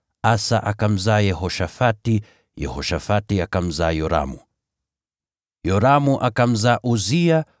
Asa akamzaa Yehoshafati, Yehoshafati akamzaa Yoramu, Yoramu akamzaa Uzia,